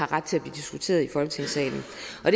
ret til at blive diskuteret i folketingssalen